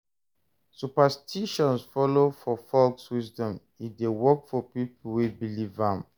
Superstitions follow for folk wisdom e de work for pipo wey believe am